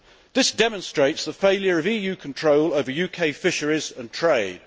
This all demonstrates the failure of EU control over UK fisheries and trade.